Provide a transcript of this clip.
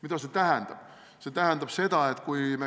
Mida see tähendab?